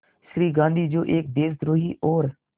श्री गांधी जो एक देशद्रोही और